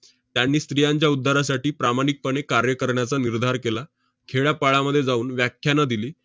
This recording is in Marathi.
त्यांनी स्त्रियांच्या उद्धारासाठी प्रामाणिकपणे कार्य करण्याचा निर्धार केला. खेड्यापाड्यामध्ये जाऊन व्याख्यानं दिली.